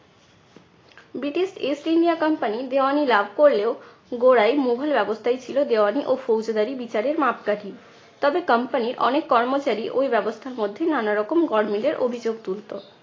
British east india company দেওয়ানি লাভ করলেও গোড়াই মোঘল ব্যবস্থাই ছিলো দেওয়ানি ও ফৌজদারি বিচারের মাপকাঠি। তবে company র অনেক কর্মচারী ওই ব্যবস্থার মধ্যে নানারকম গরমিলের অভিযোগ তুলতো।